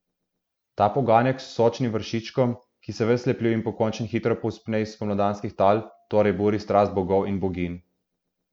Ta poganjek s sočnim vršičkom, ki se ves lepljiv in pokončen hitro povzpne iz spomladanskih tal, torej buri strast bogov in boginj.